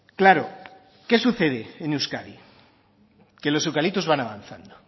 claro qué sucede en euskadi que los eucaliptos van avanzando